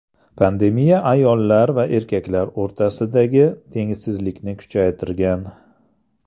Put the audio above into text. Pandemiya ayollar va erkaklar o‘rtasidagi tengsizlikni kuchaytirgan.